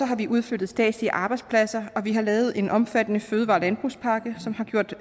har vi udflyttet statslige arbejdspladser og vi har lavet en omfattende fødevare og landbrugspakke som har gjort